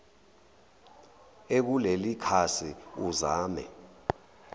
ekuleli khasi uzame